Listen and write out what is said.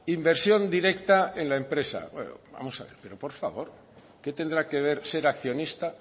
inversión directa en la empresa vamos a ver pero por favor qué tendrá que ver ser accionista